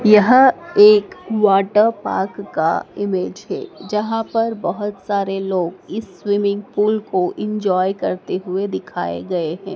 यह एक water park का इमेज है जहां पर बहुत सारे लोग इस स्विमिंग पूल को एंजॉय करते हुए दिखाए गए हैं।